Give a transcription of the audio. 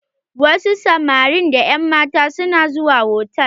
Wasu samarin da ƴan matan su na zuwa hotal.